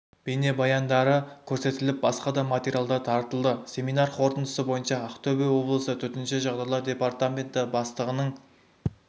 бейнебаяндары көрсетіліп басқа да материалдар таратылды семинар қорытындысы бойынша ақтөбе облысы төтенше жағдайлар департаменті бастығының